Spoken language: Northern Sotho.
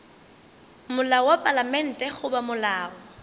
molao wa palamente goba molao